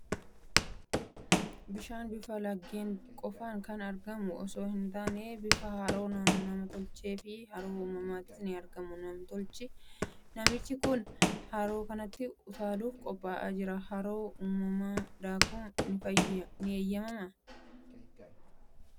Bishaan bifa laggeen qofaan kan argamu osoo hin taane, bifa haroo nam tolchee fi haroo uumamaanis ni argama. Namichi kun haroo kanatti utaaluuf qophaa'ee jira. Haroo uumamaa daakuun ni eeyyamamaa?